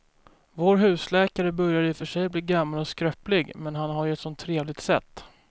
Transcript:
Vår husläkare börjar i och för sig bli gammal och skröplig, men han har ju ett sådant trevligt sätt!